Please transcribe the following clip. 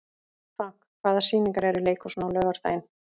Frank, hvaða sýningar eru í leikhúsinu á laugardaginn?